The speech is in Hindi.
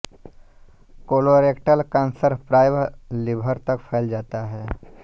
कोलोरेक्टल कैंसर प्रायः लीवर तक फ़ैल जाता है